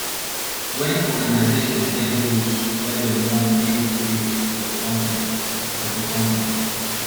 when organisation get goals wey dem want make pipo reach for do company for do company